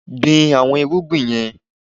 Gbin àwọn irúgbìn yẹn